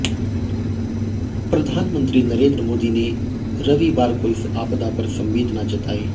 प्रधानमंत्री नरेंद्र मोदी ने रविवार को इस आपदा पर संवेदना जताई